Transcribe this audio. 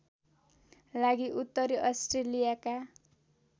लागि उत्तरी अस्ट्रेलियाका